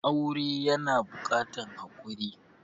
Aure yana buƙatan hakuri.